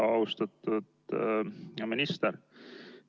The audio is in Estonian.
Austatud minister!